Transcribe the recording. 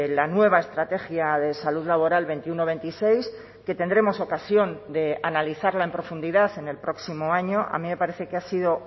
la nueva estrategia de salud laboral veintiuno veintiséis que tendremos ocasión de analizarla en profundidad en el próximo año a mí me parece que ha sido